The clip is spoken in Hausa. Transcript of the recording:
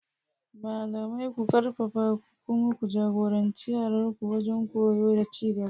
Malamai, ku arfafa ku kuma ja-goranci yaranku wajen koyo da ci gaba.